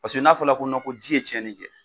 Paseke n'a fɔla ko ko ji ye tiɲɛli kɛ,